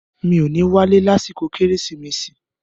“Mi ò ní wálé lásìkò “kérésìmesì”.